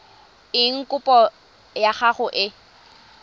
eng kopo ya gago e